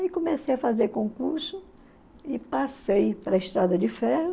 Aí comecei a fazer concurso e passei para a Estrada de Ferro.